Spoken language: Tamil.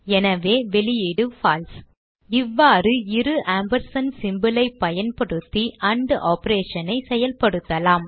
எனவே வெளியீடு பால்சே இவ்வாறு இரு ஆம்பர்சாண்ட் symbol ஐ பயன்படுத்தி ஆண்ட் operation ஐ செயல்படுத்தலாம்